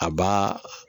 A b'a